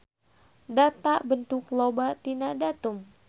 Data bentuk loba tina datum.